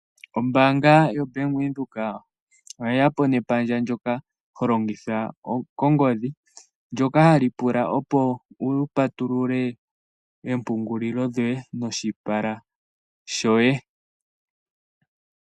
Ombaanga yoBank Windhoek oye ya po nepandja ndoka ho longitha kongodhi, ndoka hali pula opo wu patulule oompungulilo dhoye noshipala shoye.